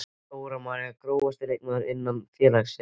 Dóra María Grófasti leikmaður innan félagsins?